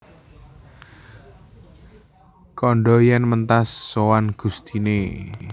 Kandha yèn mentas sowan gustiné